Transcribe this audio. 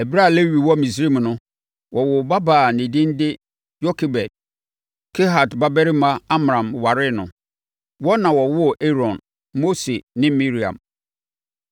Ɛberɛ a Lewi wɔ Misraim no, wɔwoo ɔbabaa a ne din de Yokebed. Kehat babarima Amram waree no. Wɔn na wɔwoo Aaron, Mose ne Miriam.